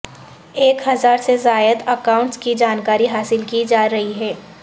ایک ہزار سے زائد اکاونٹس کی جانکاری حاصل کی جا رہی ہے